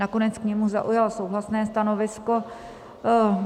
Nakonec k němu zaujal souhlasné stanovisko.